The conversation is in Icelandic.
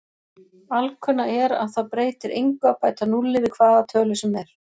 Alkunna er að það breytir engu að bæta núlli við hvaða tölu sem er.